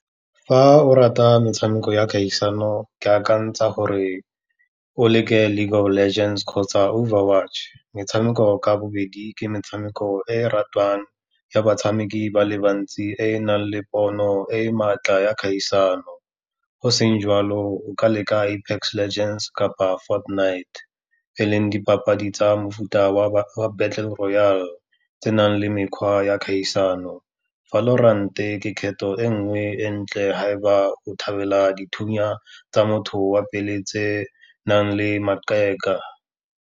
Fa o rata metshameko ya kgaisano ke akantsha gore o leke Live Our Legends kgotsa Overwatch. Metshameko ka bobedi ke metshameko e ratiwang ya batshameki ba le bantsi e e nang le pono e e maatla ya kgaisano, go seng jalo o ka leka Apex Legends kapa Fortnite e leng dipapadi tsa mofuta wa Battle Royal, tse nang le mekgwa ya kgaisano. Valorant-e ke kgetho e nngwe e ntle, ha e ba o thabela dithunya tsa motho wa pele tse nang le makeka.